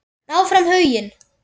Áfram Huginn.